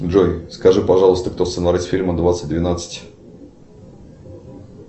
джой скажи пожалуйста кто сценарист фильма двадцать двенадцать